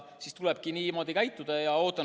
Siis tulebki niimoodi käituda.